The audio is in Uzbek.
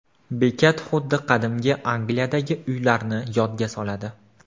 Bekat xuddi qadimgi Angliyadagi uylarni yodga soladi.